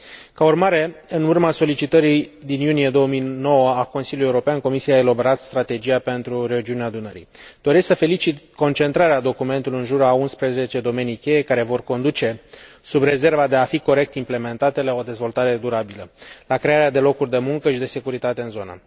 Ca urmare, în urma solicitării din iunie 2009 a Consiliului European, Comisia a elaborat Strategia pentru Regiunea Dunării Doresc să felicit concentrarea documentului în jurul a 11 domenii cheie care vor conduce, sub rezerva de a fi corect implementate, la o dezvoltare durabilă, la crearea de locuri de muncă și de securitate în zonă.